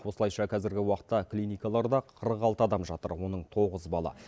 осылайша қазіргі уақытта клиникаларда қырық алты адам жатыр оның тоғызы бала